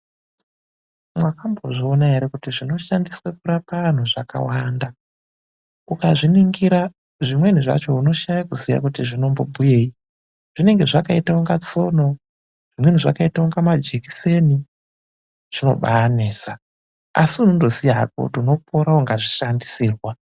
Mwakambozviona ere kuti zvinoshandiswe kurapa antu zvakawanda. Ukazviningira, zvimweni zvacho unoshaya kuti zvinombobhuyeyi, zvinenge zvakaita kunge tsono, zvimweni zvakaita kunga majekiseni, zvinobaanesa, asi unondoziya hako kuti unopora ukazvishandisirwa.